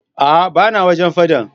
Aa bana wajen faɗan.